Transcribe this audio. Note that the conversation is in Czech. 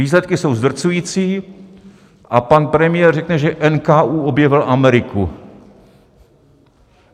Výsledky jsou zdrcující a pan premiér řekne, že NKÚ objevil Ameriku.